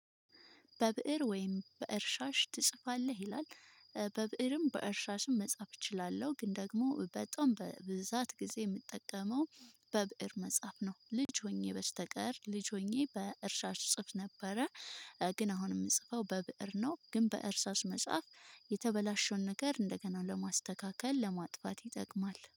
በብእር ወይም በእርሻሽ ትጽፋለህ ይላል? በብእርም በእርሻሽም መጻፍ እችላለሁ ግን ደግሞ በጣም በብዛት ጊዜ የምጠቀመው በብእር መጽሐፍ ነው። ልጅ ሆኜ በስተቀር ልጅ ሆኜ በእርሳስ እጽፍ ነበረ። ግን አሁን የምጽፈው በብእር ነው። ግን በእርሳስ መጽሐፍ የተበላሸን ነገር እንደገና ለማስተካከል ለማጥፋት ይጠቅማል